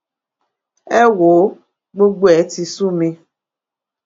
ẹ wò ó gbogbo ẹ̀ ti sú mi